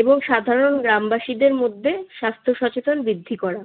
এবং সাধারণ গ্রামবাসীদের মধ্যে স্বাস্থ্য সচেতনতা বৃদ্ধি করা।